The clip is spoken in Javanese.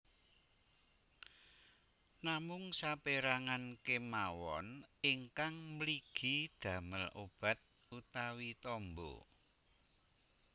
Namung sapérangan kemawon ingkang mligi damel obat utawi tamba